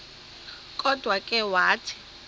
kodwa ke wathi